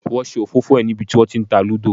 Wọn ṣe òfófó ẹ ní bí wọn tí ń ta Lúdò.